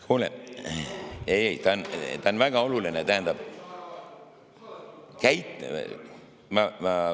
Kuule, ei-ei, ta on väga oluline, tähendab …